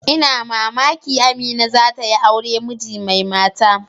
Ina mamaki Amina za ta yi aure miji mai mata.